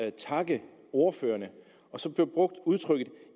at takke ordførerne og så blev udtrykket